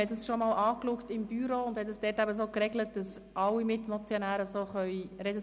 Wir hatten das im Büro bereits einmal besprochen und so geregelt, dass alle Mitmotionäre sprechen dürfen.